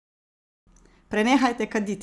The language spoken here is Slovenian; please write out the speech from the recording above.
Prenehajte kaditi!